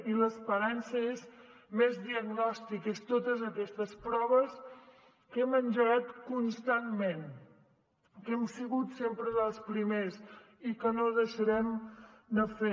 i l’esperança són més diagnòstics són totes aquestes proves que hem engegat constantment que hem sigut sempre dels primers i que no deixarem de fer